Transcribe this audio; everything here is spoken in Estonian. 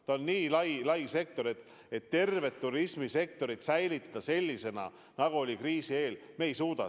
See on nii lai sektor, et tervet turismisektorit säilitada sellisena, nagu oli kriisi eel, me ei suuda.